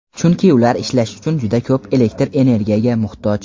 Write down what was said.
chunki ular ishlash uchun juda ko‘p elektr energiyaga muhtoj.